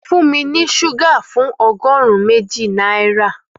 Fún mi ní ṣúgà fún ọgọ́rùn-ún méjì náírà